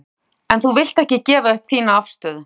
Gunnar: En þú vilt ekki gefa upp þína afstöðu?